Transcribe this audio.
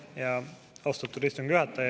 Aitäh, austatud istungi juhataja!